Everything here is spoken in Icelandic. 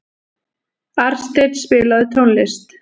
Arnsteinn, spilaðu tónlist.